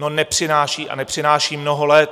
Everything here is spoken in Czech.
No nepřináší, a nepřináší mnoho let.